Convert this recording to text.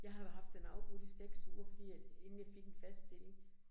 Jeg har jo haft den afbrudt i 6 uger fordi at inden jeg fik en fast stilling